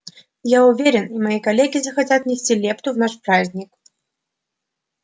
я уверен и мои коллеги захотят внести лепту в наш праздник